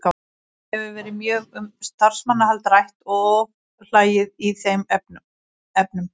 Það hefur verið mjög um starfsmannafjölda rætt og ofhlæði í þeim efnum.